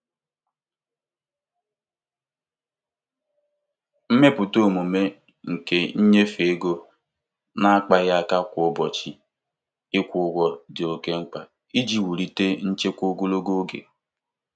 Site n'ime nchekwa ego ihe mkpa mgbe niile, ndị mmadụ n'otu n'otu nwere ike ijikwata nkwụsike ego ha nke ọma n'oge.